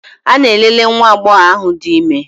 Ana m elele nwa agbọghọ ahụ dị ime.